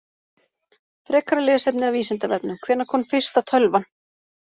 Frekara lesefni af Vísindavefnum: Hvenær kom fyrsta tölvan?